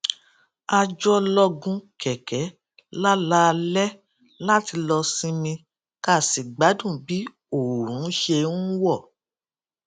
a jọ lọ gun kèké lálaalé láti lọ sinmi ká sì gbádùn bí oòrùn ṣe ń wò